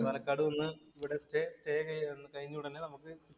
ഇവടെ സ്റ്റേ ചെയ്യാം. കഴിഞ്ഞ ഉടനെ നമുക്ക് പാലക്കാട് നിന്ന്